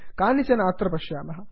कानिचन अत्र पश्यामः